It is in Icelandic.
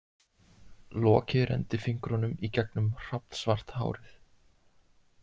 Loki renndi fingrunum í gegnum hrafnsvart hárið.